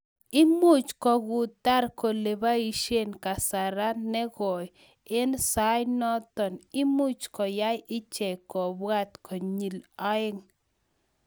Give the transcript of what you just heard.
Imuch kokutar kolepaisien kasara negoi en soanoton, imuch koyai ichek kobwat konyil aeng